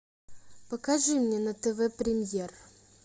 покажи мне на тв премьер